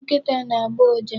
Nkịta na-agbọ ụja.